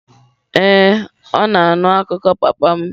Ee, ọ na-anụ akụkọ papa m.